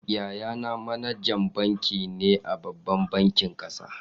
Yayana manajan banki ne a babban bankin kasa.